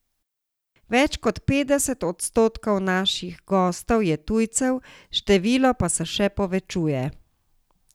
Več kot petdeset odstotkov naših gostov je tujcev, število pa se še povečuje.